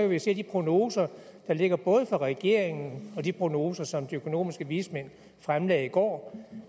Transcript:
vi se af de prognoser der ligger fra regeringen og af de prognoser som de økonomiske vismænd fremlagde i går